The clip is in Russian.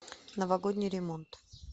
новогодний ремонт